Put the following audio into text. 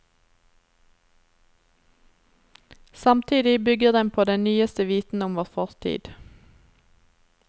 Samtidig bygger den på den nyeste viten om vår fortid.